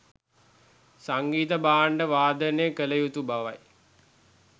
සංගීත භාණ්ඩ වාදනය කළ යුතු බවයි.